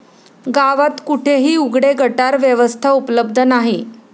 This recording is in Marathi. गावात कुठेही उघडे गटार व्यवस्था उपलब्ध नाही.